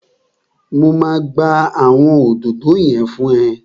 Mo máa gbá àwọn òdòdó yẹn fún ẹ